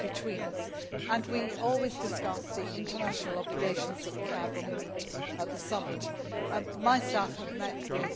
between us, and we always discuss the international obligations that we have when we meet at the summit. My staff have met with